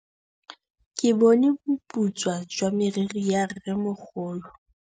Ke bone boputswa jwa meriri ya rrêmogolo.